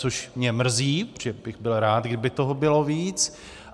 Což mě mrzí, protože bych byl rád, kdyby toho bylo víc.